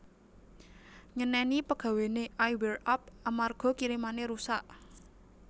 Nyeneni pegawene I Wear Up amarga kirimane rusak